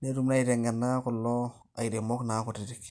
netum naa aitengena kulo airemok naa kutitik,